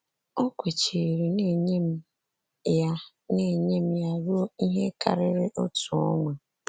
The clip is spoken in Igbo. O kwechiri na-enye m ya na-enye m ya ruo ihe karịrị otu ọnwa.